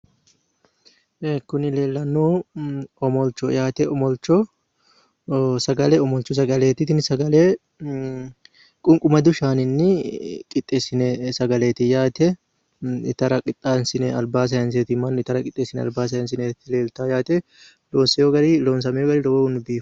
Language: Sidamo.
Kuni leellannohu omolchoho yaate. omolcho sagale omolchu sagaleeti. tini sagale qunqumadu shaaninni qixxessinoyi sagaleeti yaate. itara qixxeessine albaa sayiinse mannu itara qixxeessine albaa sayinsoyeeti leeltawo yaate loosamewo gari lowohunni biifawo.